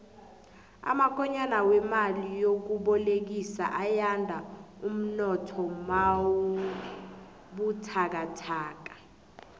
amakonyana wemali yokubolekiswa ayanda umnotho nawubuthakathaka